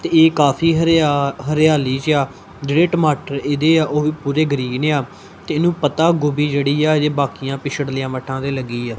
ਤੇ ਇਹ ਕਾਫ਼ੀ ਹਰਿਆ ਹਰਿਆਲੀ ਚ ਆ ਜੇੜੇ ਟਮਾਟਰ ਇਦੇ ਆ ਓਹ ਵੀ ਪੂਰੇ ਗ੍ਰੀਨ ਆ ਤੇ ਏਨੂੰ ਪੱਤਾ ਗੋਭੀ ਜੇੜੀ ਆ ਬਕਿਆ ਪਿਛਲੀ ਮੱਠਾ ਤੇ ਲੱਗੀ ਆ।